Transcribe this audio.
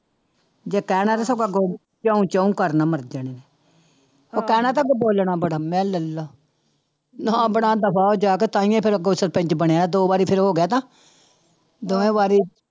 ਜੇ ਕਹਿਣਾ ਤੇ ਸਗੋਂ ਅੱਗੋਂ ਕਿਉਂ ਚੋਂ ਕਰਨਾ ਮੁੜਕਾ ਇਹਨੇ ਉਹ ਕਹਿਣਾ ਤੇ ਅੱਗੇ ਬੋਲਣਾ ਬੜਾਂ, ਮੈਂ ਲੈ ਲਾ ਨਾਂ ਬਣਾਉਂਦਾ ਬਾਹਰ ਜਾ ਕੇ ਤਾਂਹਿਓ ਫਿਰ ਅੱਗੋਂ ਸਰਪੰਚ ਬਣਿਆ ਦੋ ਵਾਰੀ ਫਿਰ ਹੋ ਗਿਆ ਤਾਂ ਦੋਵੇਂ ਵਾਰੀ